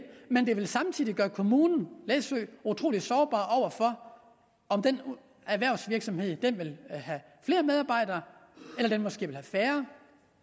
men det ville samtidig gøre kommunen læsø utrolig sårbar over for om den erhvervsvirksomhed ville have flere medarbejdere eller den måske ville have færre